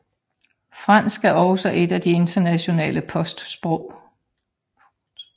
Fransk er også et af de internationale postsprog